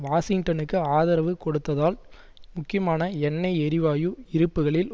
வாஷிங்டனுக்கு ஆதரவு கொடுத்தால் முக்கியமான எண்ணெய் எரிவாயு இருப்புக்களில்